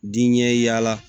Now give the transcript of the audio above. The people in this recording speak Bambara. Diɲɛ yaala